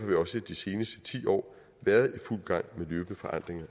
vi også de seneste ti år været i fuld gang med løbende forandringer